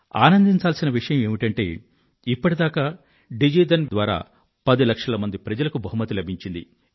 ఆనందించాల్సిన విషయం ఏమిటంటే ఇప్పటిదాకా డిజి ధన్ యోజన ద్వారా పది లక్షల మంది ప్రజలకు బహుమతి లభించింది